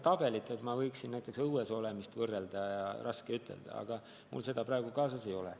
Näiteks saab võrrelda õues olemist, aga mul seda tabelit praegu kaasas ei ole.